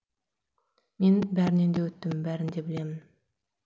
мен бәрінен де өттім бәрін де білемін